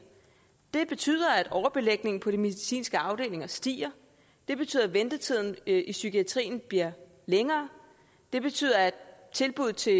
det betyder at overbelægningen på de medicinske afdelinger stiger det betyder at ventetiden i psykiatrien bliver længere det betyder at tilbuddet til